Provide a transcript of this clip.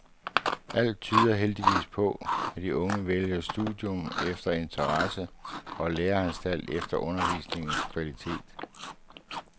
Alt tyder heldigvis på, at de unge vælger studium efter interesse og læreanstalt efter undervisningens kvalitet.